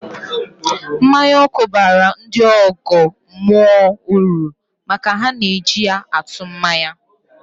Mmanya ọkụ baara ndị ọgọ mmụọ uru maka na ha na-eji ya atụ mmanya